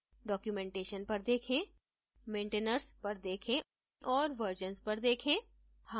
documentation पर देखें maintainers पर देखें और versions पर देखें